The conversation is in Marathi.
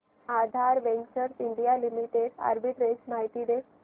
आधार वेंचर्स इंडिया लिमिटेड आर्बिट्रेज माहिती दे